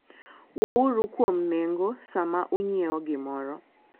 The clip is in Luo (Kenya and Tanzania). Wuouru kuom nengo sama ung'iewo gimoro.